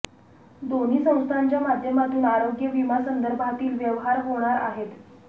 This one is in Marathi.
दोन्ही संस्थांच्या माध्यमातून आरोग्य विमा संदर्भातील व्यवहार होणार आहेत